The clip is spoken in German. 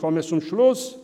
Ich komme zum Schluss.